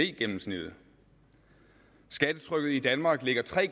gennemsnittet skattetrykket i danmark ligger tre